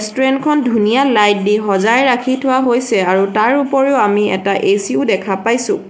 Restaurant খন ধুনীয়া light দি সজাই ৰাখি থোৱা হৈছে আৰু তাৰ উপৰিও আমি এটা এ_চি ও দেখা পাইছোঁ।